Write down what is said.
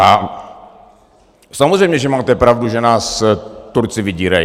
A samozřejmě že máte pravdu, že nás Turci vydírají.